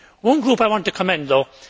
One group I want to commend though.